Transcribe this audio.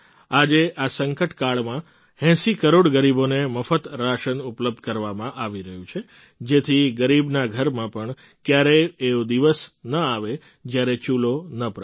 આજે આ સંકટ કાળમાં ૮૦ કરોડ ગરીબોને મફત રાશન ઉપલબ્ધ કરાવવામાં આવી રહ્યું છે જેથી ગરીબના ઘરમાં પણ ક્યારેય એવો દિવસ ન આવે જ્યારે ચૂલો ન પ્રગટે